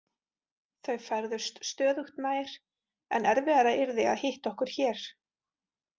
Þau færðust stöðugt nær, en erfiðara yrði að hitta okkur hér.